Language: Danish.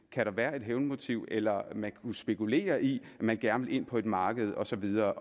kan være et hævnmotiv eller om man kunne spekulere i at man gerne vil ind på et marked og så videre